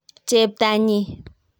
cheptanyi